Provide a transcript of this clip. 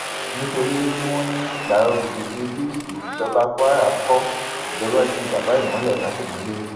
nítorí tí wọn ní gbàrọgùdù ní bíríìjì tìjọba kwara kó ìjọba ju babaìmọlẹ sátìmọlé